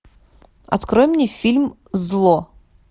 открой мне фильм зло